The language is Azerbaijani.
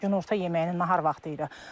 Günorta yeməyinin nahar vaxtı idi.